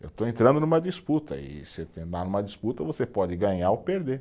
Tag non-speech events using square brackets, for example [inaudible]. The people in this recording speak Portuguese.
Eu estou entrando numa disputa e [unintelligible] numa disputa, você pode ganhar ou perder.